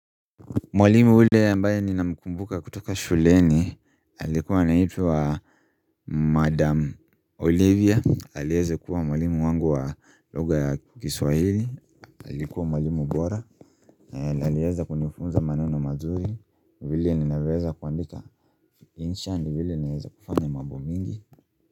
Mwalimu ule ambaye ninamkumbuka kutoka shuleni alikuwa anaitwa Madam Olivia alieza kuwa mwalimu wangu wa lugha ya kiswahili alikuwa mwalimu bora alieza kunifunza maneno mazuri vile ninaweza kuandika insha ndio vile naeza kufanya mambo mingi.